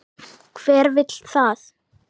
Hver vill það?